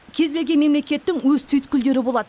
кез келген мемлекеттің өз түйткілдері болады